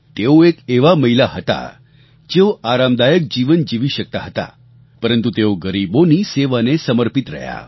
તેઓ એક એવાં મહિલા હતાં જેઓ આરામદાયક જીવન જીવી શકતા હતા પરંતુ તેઓ ગરીબોની સેવાને સમર્પિત રહ્યાં